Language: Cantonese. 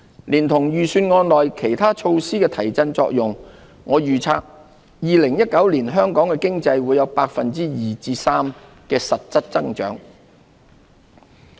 連同預算案內其他措施的提振作用，我預測2019年香港經濟會有 2% 至 3% 的實質增長。